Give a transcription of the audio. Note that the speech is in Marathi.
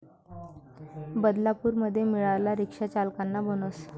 बदलापूरमध्ये मिळाला 'रिक्षाचालकांना' बोनस